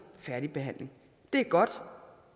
færdigbehandling det er godt